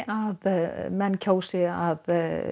að menn kjósi að